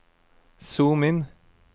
zoom inn